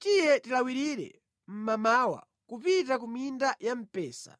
Tiye tilawirire mmamawa kupita ku minda ya mpesa,